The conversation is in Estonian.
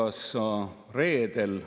1928 eurot jääb kätte.